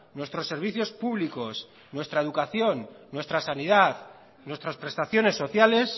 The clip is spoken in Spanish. nuestros servicios públicos nuestra educación nuestra sanidad nuestras prestaciones sociales